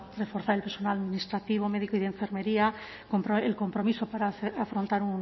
reforzar el personal administrativo médico y de enfermería el compromiso para afrontar